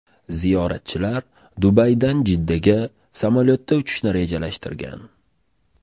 Ziyoratchilar Dubaydan Jiddaga samolyotda uchishni rejalashtirgan.